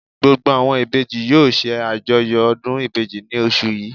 Gbogbo àwọn Ìbejì yóò se àjọyọ̀ ọdún Ìbejì ní osù yìí